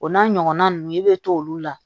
O n'a ɲɔgɔnna ninnu i bɛ t'olu la